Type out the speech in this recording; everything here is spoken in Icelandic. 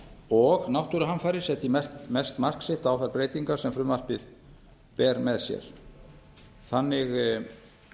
og náttúruhamfarir setji mest mark sitt á þær breytingar sem frumvarpið ber með sér þannig